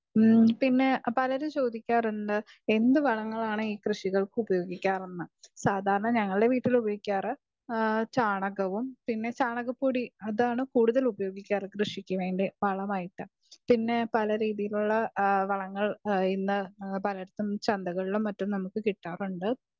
speaker 2 പിന്നെ പലരും ചോദിക്കാറുണ്ട് എന്ത് വളങ്ങളാണ് ഈ കൃഷിക്ക് ഉപയോകിക്കാരെന്ന് സാധാരണ ഞങ്ങളുടെ വീട്ടിൽ ഉപയോകിക്കാർ ചാണകവും പിന്നെ ചാണക പൊടി അതാണ് കൂടുതലും ഉപയോഗിക്കാർ കൃഷിക്ക് വേണ്ടി വളമായിട്ട് പിന്നെ പല രീതികളിലുള്ള വളങ്ങൾ ചന്തങ്ങളിലും മറ്റും നമ്മുക്ക് കിട്ടാറുണ്ട്